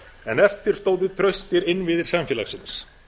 en eftir stóðu traustir innviðir samfélagsins